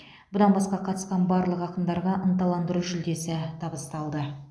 бұдан басқа қатысқан барлық ақындарға ынталандыру жүлдесі табысталды